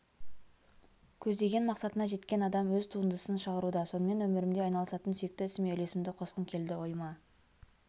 көздеген мақсатына жеткен адам өз туындысын шығаруда сонымен өмірімде айналысатын сүйікті ісіме үлесімді қосқым келді ойыма